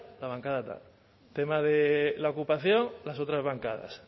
la bancada tal tema de la ocupación las otras bancadas